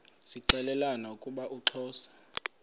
zixelelana ukuba uxhosa